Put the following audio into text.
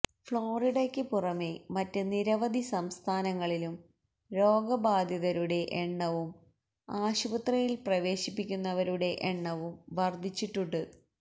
ഫ്ളോറിഡയ്ക്ക് പുറമേ മറ്റ് നിരവധി സംസ്ഥാനങ്ങളിലും രോഗ ബാധിതരുടെ എണ്ണവും ആശുപത്രിയിൽ പ്രവേശിപ്പിക്കുന്നവരുടെ എണ്ണവും വർദ്ധിച്ചിട്ടുണ്ട്